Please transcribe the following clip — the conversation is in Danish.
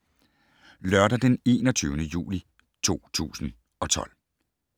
Lørdag d. 21. juli 2012